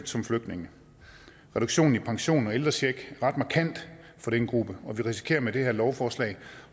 som flygtninge reduktionen i pension og ældrecheck er ret markant for den gruppe og vi risikerer med det her lovforslag